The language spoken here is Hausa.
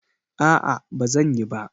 No, I won't